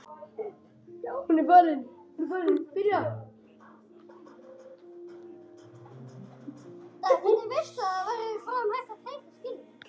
Verður Son tilbúinn þá?